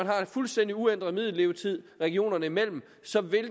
har en fuldstændig uændret middellevetid regionerne imellem så